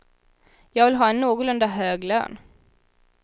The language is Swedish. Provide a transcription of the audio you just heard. Jag vill ha en någorlunda hög lön.